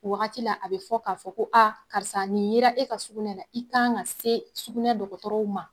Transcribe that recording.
O wagati a bɛ fɔ k'a fɔ ko a karisa nin yera e ka sukunɛ la i kan ka se sukunɛ dɔgɔtɔrɔw ma.